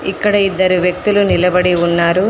ఇక్కడ ఇద్దరు వ్యక్తులు నిలబడి ఉన్నారు.